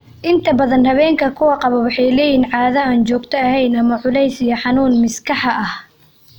Inta badan haweenka kuwan qaba waxay leeyihiin caado aan joogto ahayn ama culus iyo xanuun miskaha ah.